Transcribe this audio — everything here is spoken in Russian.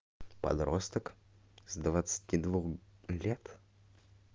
подросток с двадцати двух лет